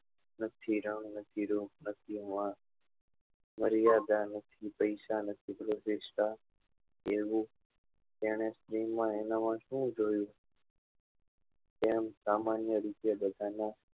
નથી રંગ નથી રૂપ નથી મર્યાદા નથી પૈસા નથી તેને શિવ માં એના માં શું જોયું એમ સામાન્ય રીતે બધા નાં